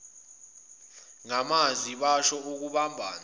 ngamazwi basho ukubambana